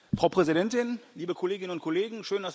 Frau Präsidentin, liebe Kolleginnen und Kollegen!